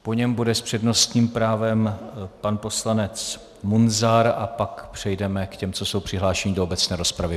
Po něm bude s přednostním právem pan poslanec Munzar a pak přejdeme k těm, co jsou přihlášeni do obecné rozpravy.